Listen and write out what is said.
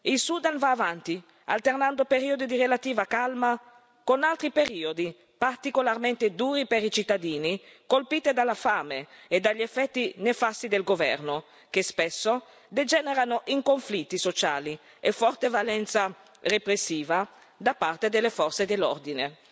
Il Sudan va avanti, alternando periodi di relativa calma con altri periodi particolarmente duri per i cittadini, colpiti dalla fame e dagli effetti nefasti del governo, che spesso degenerano in conflitti sociali a forte valenza repressiva, da parte delle forze dell'ordine.